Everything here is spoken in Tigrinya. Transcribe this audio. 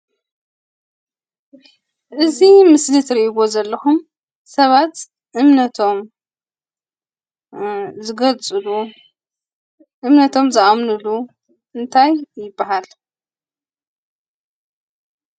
እዚ ምስሊ ትርእይዎ ዘለኹም ሰባት እምነቶም ዝገልፅሉ እምነቶም ዝኣምንሉ እንታይ ይባሃል?